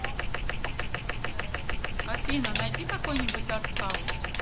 афина найди какой нибудь артхаус